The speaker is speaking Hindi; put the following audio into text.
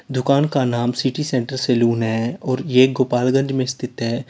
दुकान का नाम सिटी सेंटर सालोंन है और यह गोपालगंज में स्थित है।